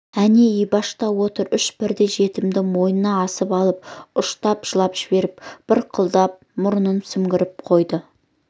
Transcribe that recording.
әне ибаш та отыр үш бірдей жетімді мойнына асып алып ұштап жылап жіберіп бырқылдап мұрнын сіңбіріп қойды